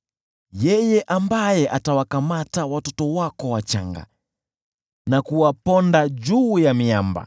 yeye ambaye atawakamata watoto wako wachanga na kuwaponda juu ya miamba.